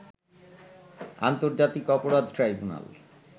আন্তর্জাতিক অপরাধ ট্রাইবুনাল